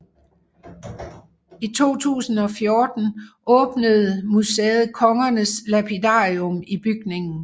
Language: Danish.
I 2014 åbnede museet Kongernes Lapidarium i bygningen